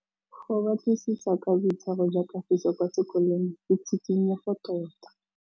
Go batlisisa ka boitshwaro jwa Kagiso kwa sekolong ke tshikinyêgô tota.